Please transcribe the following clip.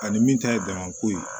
Ani min ta ye jama ko ye